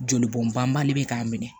Joli bɔn banbali bɛ k'a minɛ